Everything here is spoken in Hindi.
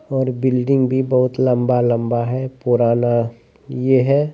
और बिल्डिंग भी बोहोत लंबा-लंबा हैं पुराना ये है।